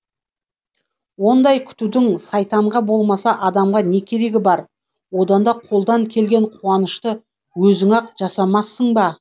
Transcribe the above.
ондай күтудің сайтанға болмаса адамға не керегі бар одан да қолдан келген қуанышты өзің ақ жасамассың ба